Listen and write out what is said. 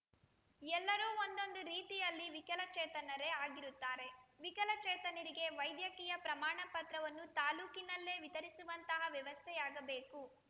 ಎಲ್ಲರೂ ಒಂದೊಂದು ರೀತಿಯಲ್ಲಿ ವಿಕಲಚೇತನರೇ ಆಗಿರುತ್ತಾರೆ ವಿಕಲಚೇತನರಿಗೆ ವೈದ್ಯಕೀಯ ಪ್ರಮಾಣ ಪತ್ರವನ್ನು ತಾಲೂಕಿನಲ್ಲೇ ವಿತರಿಸುವಂತಹ ವ್ಯವಸ್ಥೆಯಾಗಬೇಕು